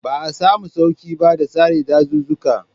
Ba a samu sauƙi ba ga sare dazuzzuka.